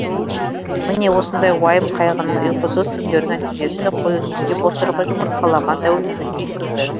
міне осындай уайым қайғының ұйқысыз түндердің нәтижесі қой үстіне бозторғай жұмыртқалаған тәуелсіздікке жеткізді